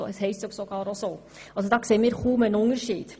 Wir sehen somit kaum einen Unterschied.